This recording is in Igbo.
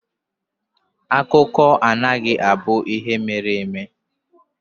Akụkọ anaghị abụ ihe mere eme.